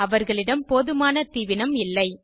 அவர்களிடம் போதுமான தீவினம் இல்லை